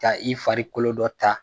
ka i fari kolo dɔ ta